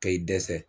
Ka i dɛsɛ